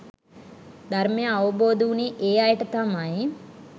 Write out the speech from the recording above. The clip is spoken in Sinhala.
ධර්මය අවබෝධ වුණේ ඒ අයට තමයි.